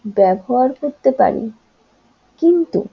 ব্যবহার করতে পারি কিন্তু